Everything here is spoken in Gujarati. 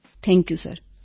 thank you sir